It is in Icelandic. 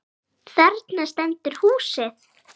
Þarna stendur húsið.